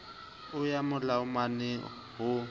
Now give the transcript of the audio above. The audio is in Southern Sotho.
a ya ha malomae ho